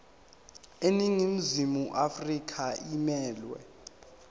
iningizimu afrika emelwe